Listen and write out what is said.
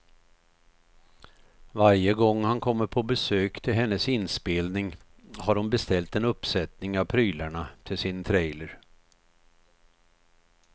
Varje gång han kommer på besök till hennes inspelning har hon beställt en uppsättning av prylarna till sin trailer.